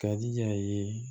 Ka di a ye